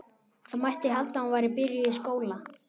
Það mætti halda að hún væri byrjuð í skóla.